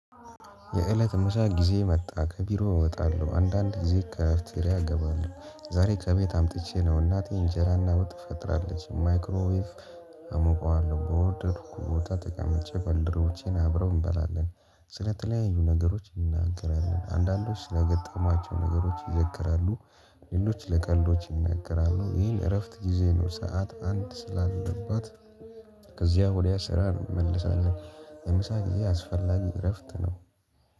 የእለት መሻት ጊዜ መጣ ከቢሮ እወጣለሁ አንዳንድ ጊዜ ከአፍትሬ እገባለሁ። ዛሬ ከቤት አምጥቼ ነው እናት ኢንጀራና ውጥ ትፈጥራለች ማይክሮቪይቭ አሞቀዋለሁ። በወርደድኩ ቦታ ተቀመጭ በንደሮቼን አብረው እንበላለን። ስለተለያዩ ነገሮች እንናገራለን አንዳንዶች ስለገጠሟቸው ነገሮች ይዘክራሉ። ሌሎች ለቀልዶች ይነገራሉ ይሄን እረፍት ጊዜ ነው። ሰዓት አንድ ስላለባት ከዚያ ወዲያ ስራ እመልሳለሁ። የምሳ ጊዜ አስፈላጊ እረፍት ነው